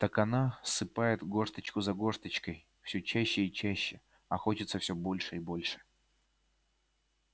так она ссыпает горсточку за горсточкой все чаще и чаще а хочется все больше и больше